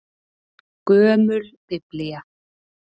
Gömul Biblía.